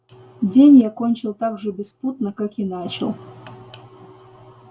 день я кончил так же беспутно как и начал